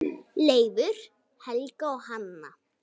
Leifur, Helga og Hanna.